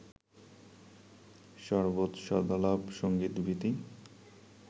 সরবৎ সদালাপ সংগীত-ভীতি